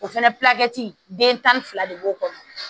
O fɛnɛ den tan ni fila de b'o kɔnɔ